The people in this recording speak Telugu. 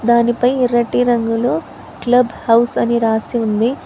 దానిపై ఎర్రటి రంగులో గ్లబ్ హౌస్ అని రాసి ఉంది.